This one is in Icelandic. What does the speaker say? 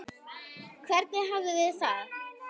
Hvernig hafið þið það?